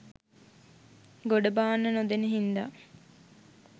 ගොඩ බාන්න නොදෙන හින්දා